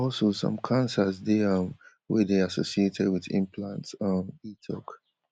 also some cancers dey um wey dey associated wit implants um e tok